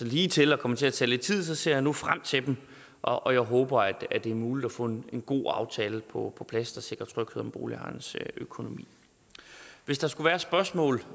ligetil og kommer til at tage lidt tid ser jeg nu frem til dem og jeg håber at det er muligt at få en god aftale på plads der sikrer tryghed om boligejernes økonomi hvis der skulle være spørgsmål